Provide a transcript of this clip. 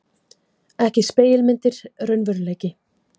Ekki spegilmyndir, raunveruleiki.